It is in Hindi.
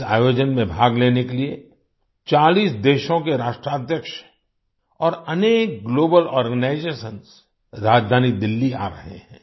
इस आयोजन में भाग लेने के लिए 40 देशों के राष्ट्राध्यक्ष और अनेक ग्लोबल आर्गेनाइजेशंस राजधानी दिल्ली आ रहे हैं